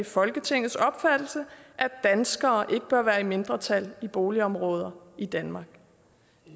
folketingets opfattelse at danskere ikke bør være i mindretal i boligområder i danmark